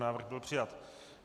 Návrh byl přijat.